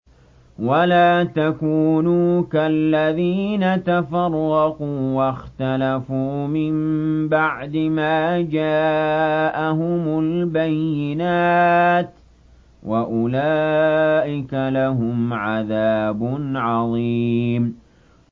وَلَا تَكُونُوا كَالَّذِينَ تَفَرَّقُوا وَاخْتَلَفُوا مِن بَعْدِ مَا جَاءَهُمُ الْبَيِّنَاتُ ۚ وَأُولَٰئِكَ لَهُمْ عَذَابٌ عَظِيمٌ